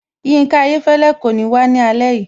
Yinka Ayéfẹ́lẹ́ kò ní wá ní alẹ́ yìí